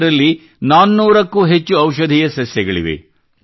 ಇದರಲ್ಲಿ 400 ಕ್ಕೂ ಹೆಚ್ಚು ಔಷಧೀಯ ಸಸ್ಯಗಳಿವೆ